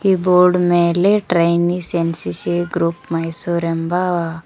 ಈ ಬೋರ್ಡ್ ಮೇಲೆ trainees NCC group Mysore ಎಂಬ--